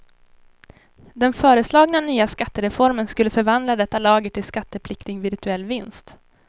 Den föreslagna nya skattereformen skulle förvandla detta lager till skattepliktig virtuell vinst.